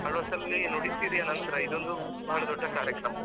Alva's ಅಲ್ಲಿ ನುಡಿಸಿರಿಯ ನಂತ್ರ ಇದೊಂದು ಬಹಳ ದೊಡ್ಡ ಕಾರ್ಯಕ್ರಮ.